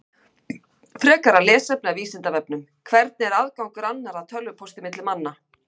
Frekara lesefni af Vísindavefnum: Hvernig er aðgangur annarra að tölvupósti milli manna?